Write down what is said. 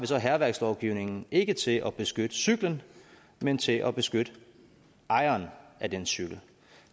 så hærværkslovgivningen ikke til at beskytte cyklen men til at beskytte ejeren af den cykel